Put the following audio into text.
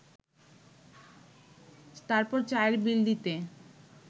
তারপর চায়ের বিল দিতে